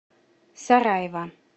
сараево